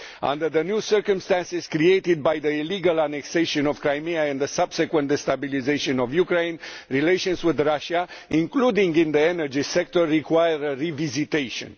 Under the new circumstances created by the illegal annexation of Crimea and the subsequent destabilisation of Ukraine, relations with Russia, including in the energy sector, require a revisitation.